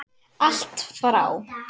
Allt frá